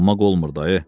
Dolanmaq olmur dayı.